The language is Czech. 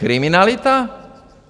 Kriminalita?